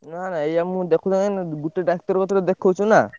ନା ନା ଏୟା ମୁଁ ଗୋଟେ ଡାକ୍ତର କତିରେ ଦେଖଉଛୁ ନା।